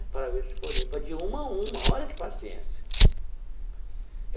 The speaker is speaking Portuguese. Para ver se foi limpa, de uma a uma, olha que paciência.